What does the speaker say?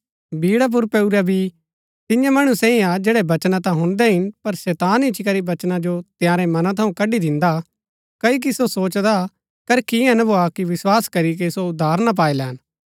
बीड़ा पुर पैऊरा बी तियां मणु सैई हा जैड़ै वचना ता हुणदै हिन पर शैतान इच्ची करी वचना जो तंयारै मनां थऊँ कड्ड़ी दिन्दा क्ओकि सो सोचदा करखी ईयां ना भोआ कि विस्वास करीके सो उद्धार ना पाई लैन